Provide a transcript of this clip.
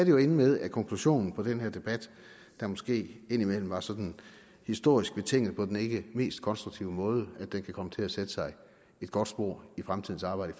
jo ende med at konklusionen på den her debat der måske indimellem var sådan historisk betinget på den ikke mest konstruktive måde kan komme til at sætte sig et godt spor i fremtidens arbejde